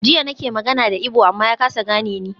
Jiya nake magana da Igbo amma ya kasa gane ni.